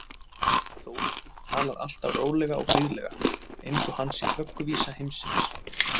Þóroddur talar alltaf rólega og blíðlega, eins og hann sé vögguvísa heimsins.